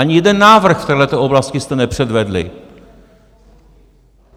Ani jeden návrh v této oblasti jste nepředvedli.